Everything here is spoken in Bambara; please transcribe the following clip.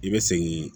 I bɛ segin